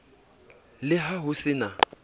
le ha ho se na